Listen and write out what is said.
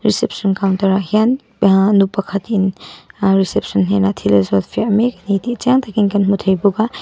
reception counter ah hian aa nu pakhatin aa reception hnenah thil a zawt fiah mek ani tih chiang takin kan hmu thei bawk a--